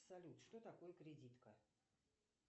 салют что такое кредитка